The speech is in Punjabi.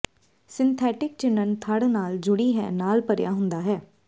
ਸਿੰਥੈਟਿਕ ਚਿਣਨ ਧੜ ਨਾਲ ਜੁੜੀ ਹੈ ਨਾਲ ਭਰਿਆ ਹੁੰਦਾ ਹੈ